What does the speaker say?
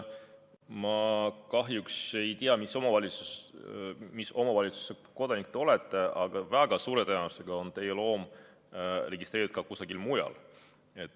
Ma kahjuks ei tea, mis omavalitsuse kodanik te olete, aga väga suure tõenäosusega on teie loom registreeritud ka kusagil mujal.